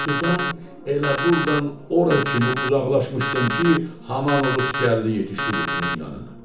Qutudan elə burdan ora kimi uzaqlaşmışdım ki, haman Uruz gəlib yetişdi qutunun yanına.